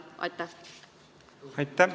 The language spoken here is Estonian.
Aitäh!